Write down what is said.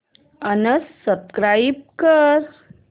unsubscribe कर